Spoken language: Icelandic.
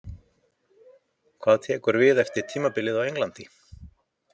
Hvað tekur við eftir tímabilið á Englandi?